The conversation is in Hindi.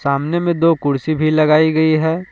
सामने में दो कुर्सी भी लगाई गई है।